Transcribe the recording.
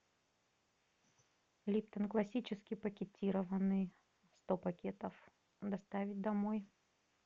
липтон классический пакетированный сто пакетов доставить домой